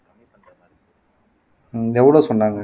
உம் எவ்வளவு சொன்னாங்க